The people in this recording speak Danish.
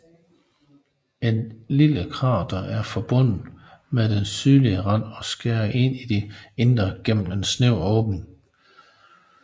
Et lille krater er forbundet med den sydlige rand og skærer ind i det indre gennem en snæver åbning